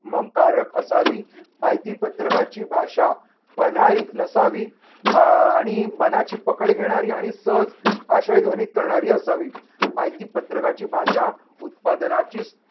म कारक असावी माहिती पत्रकाची भाषा पन्हाळीक नसावी. आह आणि मनाची पकड घेणारी आणि सहज आशय ध्वनित करणारी असावी. माहिती पत्रकाची भाषा उत्पादनाची